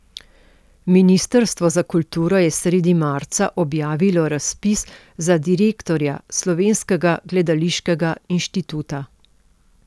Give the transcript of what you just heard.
Ministrstvo za kulturo je sredi marca objavilo razpis za direktorja Slovenskega gledališkega inštituta.